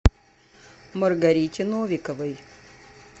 маргарите новиковой